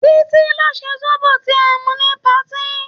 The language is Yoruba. Títí ló ṣe zobo tí a mu ní patí.